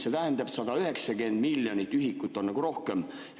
See tähendab, et 190 miljonit ühikut on nagu rohkem.